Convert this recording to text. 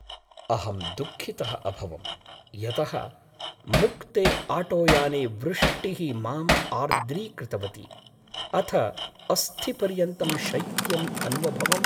अहं दुःखितः अभवं यतः मुक्ते आटोयाने वृष्टिः माम् आर्द्रीकृतवती, अथ अस्थिपर्यन्तं शैत्यमन्वभवम्।